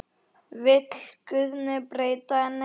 Vill Guðni breyta henni?